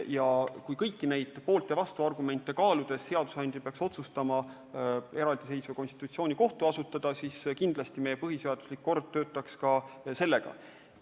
Aga kui kõiki poolt- ja vastuargumente kaaludes seadusandja peaks otsustama eraldiseisva konstitutsioonikohtu asutada, siis kindlasti meie põhiseaduslik kord toimiks ka sellega.